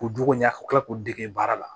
K'u juguya ka tila k'u dege baara la